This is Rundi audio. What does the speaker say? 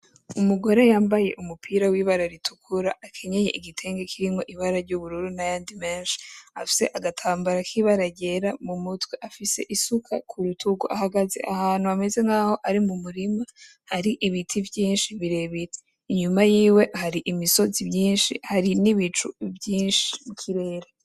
Umugore yambaye umupira w’ibara ritukura, akenye igitenge kirimwo ibara ry’ubururu n’ayandi menshi, afise agatambara k’ibara ry’igera mu mutwe, afise isuka ku rutugu ahagaze ahantu hameze nk’aho ari mu murima, hari ibiti vyinshi birebire inyuma yiwe hari imisozi myinshi, hari n'ibicu vyinshi mu kirere.